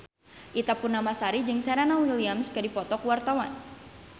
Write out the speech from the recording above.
Ita Purnamasari jeung Serena Williams keur dipoto ku wartawan